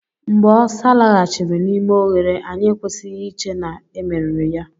Mgbe osa laghachiri n'ime oghere, anyị ekwesịghị iche na e meriri ya.